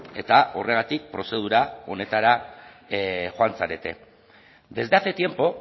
eta horregatik prozedura honetara joan zarete desde hace tiempo